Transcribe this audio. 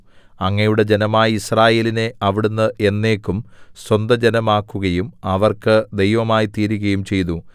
അങ്ങയുടെ ജനമായ യിസ്രായേലിനെ അവിടുന്ന് എന്നേക്കും സ്വന്തജനമാക്കുകയും അവർക്ക് ദൈവമായ്തീരുകയും ചെയ്തു